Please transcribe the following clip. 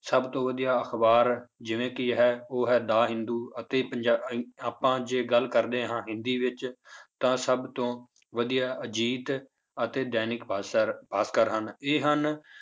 ਸਭ ਤੋਂ ਵਧੀਆ ਅਖ਼ਬਾਰ ਜਿਵੇਂ ਕਿ ਹੈ ਉਹ ਹੈ ਦਾ ਹਿੰਦੂ ਅਤੇ ਪੰਜਾ~ ਆਪਾਂ ਜੇ ਗੱਲ ਕਰਦੇ ਹਾਂ ਹਿੰਦੀ ਵਿੱਚ ਤਾਂ ਸਭ ਤੋਂ ਵਧੀਆ ਅਜੀਤ ਅਤੇ ਦੈਨਿਕ ਭਾਸ਼ਰ ਭਾਸ਼ਕਰ ਹਨ ਇਹ ਹਨ